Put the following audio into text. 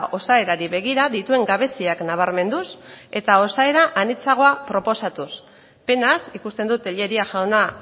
osaerari begira dituen gabeziak nabarmenduz eta osaera anitzagoa proposatuz penaz ikusten dut tellería jauna